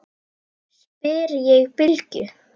spyr ég Bylgju.